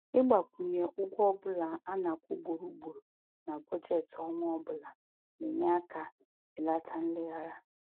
Ịgbakwụnye ụgwọ ọbụla a na-akwụ ugboro ugboro na bọjetị ọnwa ọbụla na-enye aka belata nleghara